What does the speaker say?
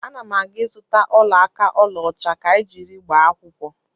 Ana m aga ịzụta ọla aka ọlaọcha ka anyị jiri gbaa akwụkwọ.